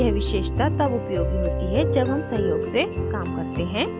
यह विशेषता तब उपयोगी होती है जब हम सहयोग से काम करते हैं